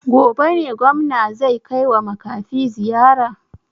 Gobe ne gwamna zai kaiwa makafi ziyara?